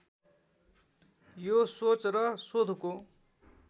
यो सोच र शोधको